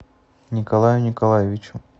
николаю николаевичу